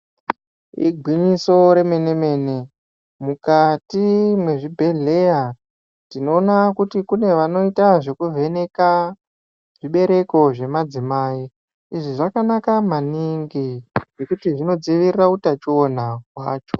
Igwinyiso remene mene mukati mwezvi bhedhleya tinoona kuti kune vanoita zvekuvheneka bereko zvemadzimai izvi zvakanaka maningi ngekuti zvinodziirire utachuona hwacho.